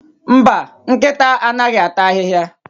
Mba, nkịta anaghịata ahịhịa?